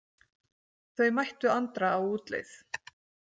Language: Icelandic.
Þau mættu Andra á útleið.